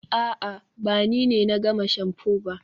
a'a, ba ni ne na gama shamfu ba